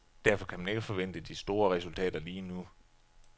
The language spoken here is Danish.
Derfor kan man ikke forvente de store resultater lige nu.